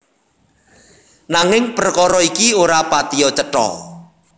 Nanging prekara iki ora patiya cetha